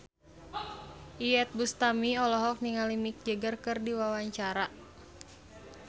Iyeth Bustami olohok ningali Mick Jagger keur diwawancara